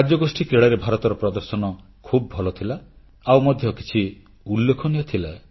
ରାଜ୍ୟଗୋଷ୍ଠୀ କ୍ରୀଡ଼ାରେ ଭାରତର ପ୍ରଦର୍ଶନ ଖୁବ ଭଲ ଥିଲା ଆଉ ମଧ୍ୟ କିଛି ଉଲ୍ଲେଖନୀୟ ଥିଲା